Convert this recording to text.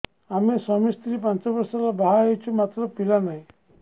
ଆମେ ସ୍ୱାମୀ ସ୍ତ୍ରୀ ପାଞ୍ଚ ବର୍ଷ ହେଲା ବାହା ହେଇଛୁ ମାତ୍ର ପିଲା ନାହିଁ